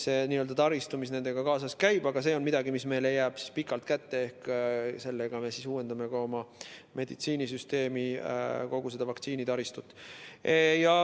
See on n‑ö taristu, mis sellega kaasas käib, aga see on midagi, mis meile jääb pikalt kätte, ehk sellega me uuendame oma meditsiinisüsteemi vaktsineerimistaristut.